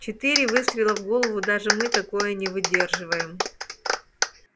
четыре выстрела в голову даже мы такое не выдерживаем